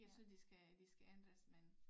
Jeg synes de skal de skal ændres men